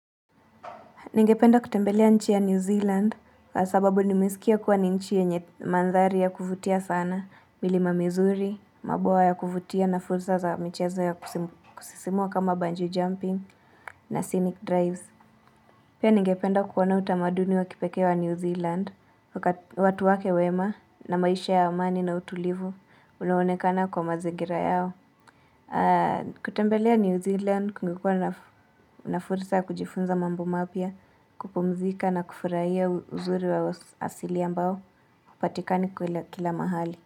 Ningependa kutembelea nchi ya New Zealand kwa sababu nimesikia kuwa ni nchi yenye mandhari ya kuvutia sana, milima mizuri, mabawa ya kuvutia na fursa za michezo ya kusisimua kama bunjee jumping na scenic drives. Pia ningependa kuona utamaduni wa kipekee wa New Zealand, watu wake wema na maisha ya amani na utulivu ulioonekana kwa mazingira yao. Kutembelea New Zealand kungekuwa na fursa ya kujifunza mambo mapya kupumzika na kufurahia uzuri wa asili ambao hupatikani kwa kila mahali.